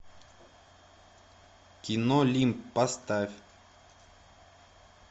кино лимб поставь